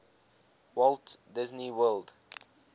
walt disney world